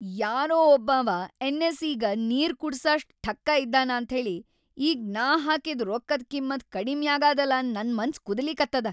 ಯಾರೋ ಒಬ್ಬಾವ ಎನ್. ಎಸ್.ಇ.ಗ ನೀರ್‌ ಕುಡಸಷ್ಟ್ ಠಕ್ಕ ಇದ್ದಾನ ಅಂತ್ಹೇಳಿ‌ ಈಗ್ ನಾ ಹಾಕಿದ್‌ ರೊಕ್ಕದ್‌ ಕಿಮ್ಮತ್‌ ಕಡಿಮ್ಯಾಗಾದಲಾ ನನ್‌ ಮನ್ಸ್‌ ಕುದೀಲಿಕತ್ತದ.